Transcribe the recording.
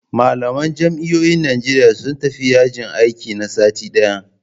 Malaman jami'o'in Najeriya sun tafi yajin aiki na sati ɗaya